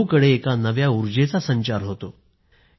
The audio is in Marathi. सर्वत्र एका नव्या उर्जेचा संचार होतो